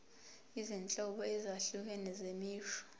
izinhlobo ezahlukene zemisho